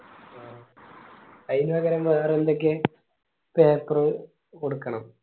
അയിന് പകരം വേറെ എന്തൊക്കെ paper കൊട്ക്കണം